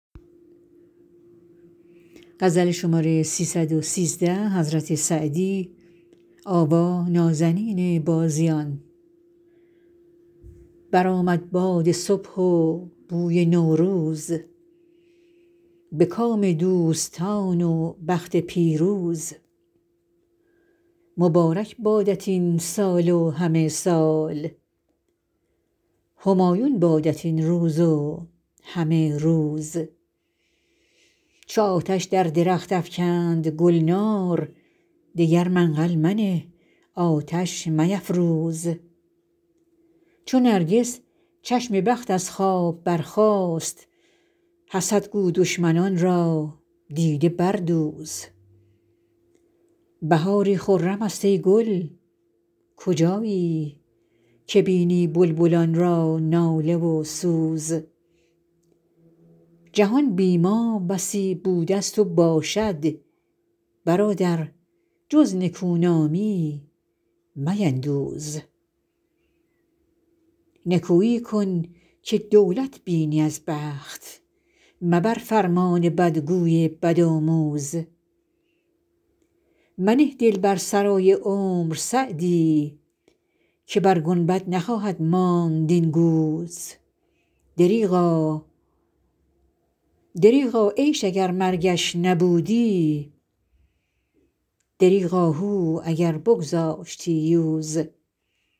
برآمد باد صبح و بوی نوروز به کام دوستان و بخت پیروز مبارک بادت این سال و همه سال همایون بادت این روز و همه روز چو آتش در درخت افکند گلنار دگر منقل منه آتش میفروز چو نرگس چشم بخت از خواب برخاست حسد گو دشمنان را دیده بردوز بهاری خرم است ای گل کجایی که بینی بلبلان را ناله و سوز جهان بی ما بسی بوده ست و باشد برادر جز نکونامی میندوز نکویی کن که دولت بینی از بخت مبر فرمان بدگوی بدآموز منه دل بر سرای عمر سعدی که بر گنبد نخواهد ماند این گوز دریغا عیش اگر مرگش نبودی دریغ آهو اگر بگذاشتی یوز